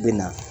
Bɛ na